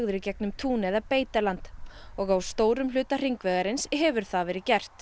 í gegnum tún eða beitarland og á stórum hluta hringvegarins hefur það verið gert